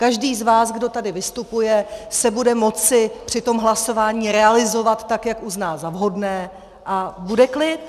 Každý z vás, kdo tady vystupuje, se bude moci při tom hlasování realizovat tak, jak uzná za vhodné, a bude klid.